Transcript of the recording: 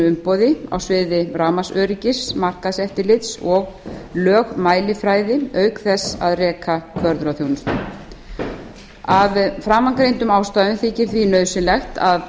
umboði á sviði rafmagnsöryggis markaðseftirlits og lögmælifræði auk þess að reka kvörðunarþjónustu af framangreindum ástæðum þykir því nauðsynlegt að